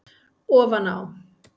Ofan á